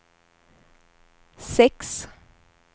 sex